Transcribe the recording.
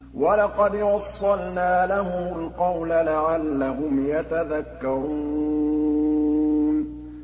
۞ وَلَقَدْ وَصَّلْنَا لَهُمُ الْقَوْلَ لَعَلَّهُمْ يَتَذَكَّرُونَ